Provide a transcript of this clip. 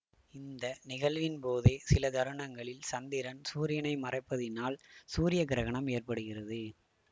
இந்த நிகழ்வின்போதே சில தருணங்களில் சந்திரன் சூரியனை மறைப்பதினால் சூரிய கிரகணம் ஏற்படுகிறது